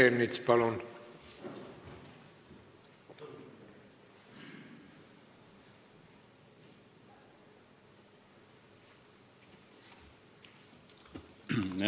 Peeter Ernits, palun!